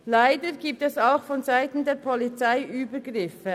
Leider gibt es auch vonseiten der Polizei Übergriffe.